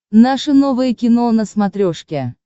наше новое кино на смотрешке